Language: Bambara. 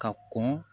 Ka kɔn